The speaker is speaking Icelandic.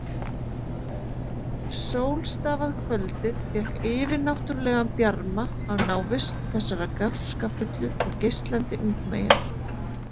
Sólstafað kvöldið fékk yfirnáttúrlegan bjarma af návist þessarar gáskafullu og geislandi ungmeyjar.